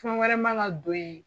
Fɛn wɛrɛ ma na don ye